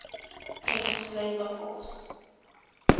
s labor force